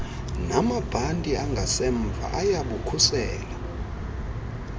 namabhanti angasemva ayabukhusela